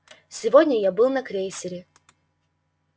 сегодня я был на крейсере